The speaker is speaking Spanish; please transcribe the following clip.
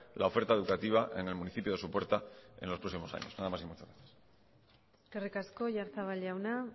la oferta educativa en el municipio de sopuerta en los próximos años nada más y muchas gracias eskerrik asko oyarzabal jauna